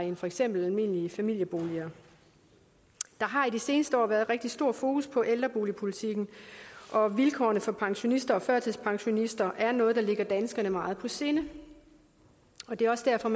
i for eksempel almindelige familieboliger der har i de seneste år været rigtig stor fokus på ældreboligpolitikken og vilkårene for pensionister og førtidspensionister er noget der ligger danskerne meget på sinde og det er også derfor